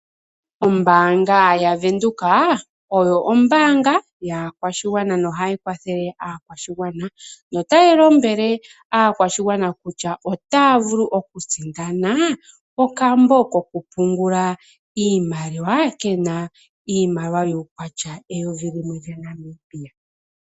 Oombanga yaVenduka, oyo ombaanga yaakwashigwana nohayikwathele aakwashigwana. Otayi lombwele aakwashigwana kutya ootavulu okusindana okambo kokupungula iimaliwa kena iimaliwa yuukwatya weyovi limwe laNamibia.